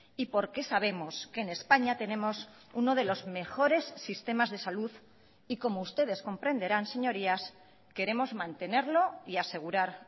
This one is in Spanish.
y porque sabemos que en españa tenemos uno de los mejores sistemas de salud y como ustedes comprenderán señorías queremos mantenerlo y asegurar